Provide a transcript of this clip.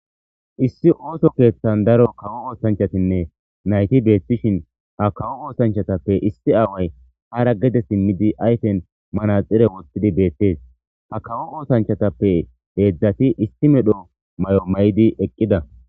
issi ooso keeththan daro kawo oosanchatinne nayti beethtishin ha kawo oosanchatappe issi aaway hara gede simmidi ayfen mana xire woththidi beettees ha kawo oosanchatappe heedzdzati isti medho may7o may7di eqqida